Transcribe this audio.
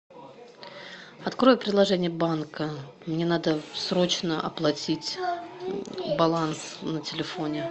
открой приложение банка мне надо срочно оплатить баланс на телефоне